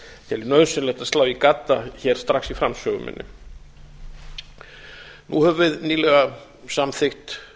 ég nauðsynlegt að slá í gadda hér strax í framsögu minni nú höfum við nýlega samþykkt